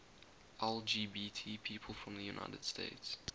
lgbt people from the united states